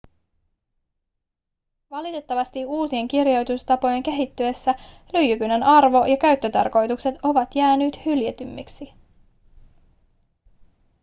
valitettavasti uusien kirjoitustapojen kehittyessä lyijykynän arvo ja käyttötarkoitukset ovat jääneet hyljeksitymmiksi